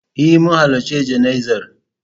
E, mun halarci jana'izar.